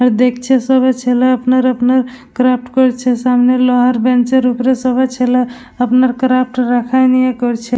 দেখছে সবাই আপনার আপনার ছেলে ক্রাফট করছে । সামনে লোহার বেঞ্চ -র সবার ছেলে আপনার ক্রাফট রাখা নিয়ে করছে।